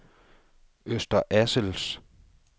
Øster Assels